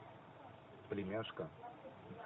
племяшка